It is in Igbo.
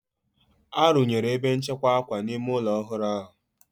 Arụnyere ebe nchekwa akwa n'ime ụlọ ọhụrụ ahụ.